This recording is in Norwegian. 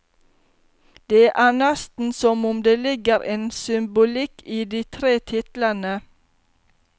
Det er nesten som om det ligger en symbolikk i de tre titlene.